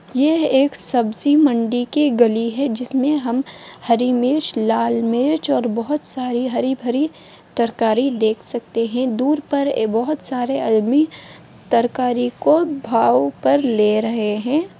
यह एक सब्जी मंडी की गली है जिसमें हम हरी मिर्च लाल मिर्च और बहुत सारी हरी- भरी तरकारी देख सकते हैं दूर पर बहुत सारे अदमी तरकारी को भाव पर ले रहे हैं।